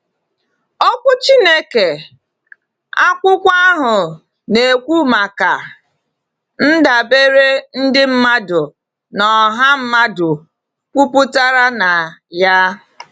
Okwu Chineke, akwụkwọ ahụ, na-ekwu maka “ndabere” ndị mmadụ na ọha mmadụ kwụpụtara na ya.